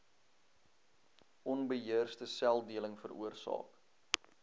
onbeheerste seldeling veroorsaak